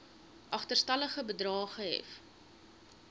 agterstallige bedrae gehef